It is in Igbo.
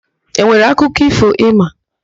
E nwere akụkọ ífò ị ma?